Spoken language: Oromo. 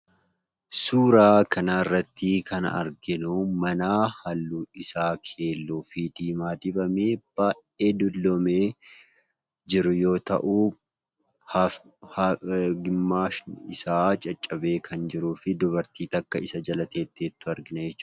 Suuraa kanarratti kan arginuu manaa halluun isaa keelloofi diimaa dibamee, baayyee dulloomee jiru yoo ta'uu gimaashi isaa caccabee kan jiruufi dubartii takka isa jala teessee jirtu arginaa jechuudha.